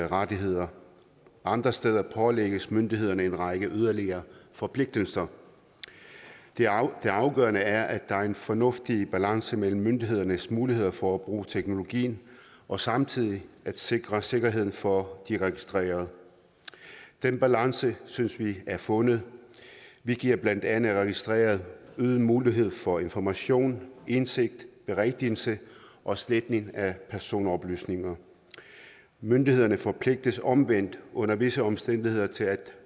rettigheder og andre steder pålægges myndighederne en række yderligere forpligtelser det afgørende er at der er en fornuftig balance mellem myndighedernes muligheder for at bruge teknologien og samtidig at sikre sikkerheden for de registrerede den balance synes vi er fundet vi giver blandt andet de registrerede øget mulighed for information indsigt berigtigelse og sletning af personoplysninger myndighederne forpligtes omvendt under visse omstændigheder til at